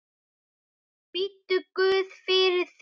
Biddu guð fyrir þér.